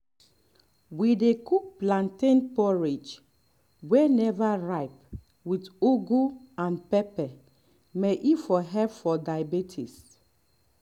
we dey cook plantain porridge wey never ripe with ugu and pepper may e for help for diabetics